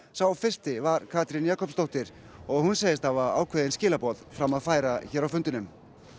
sá fyrsti var Katrín Jakobsdóttir og hún segist hafa ákveðin skilaboð fram að færa hér á fundinum